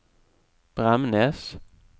Bremnes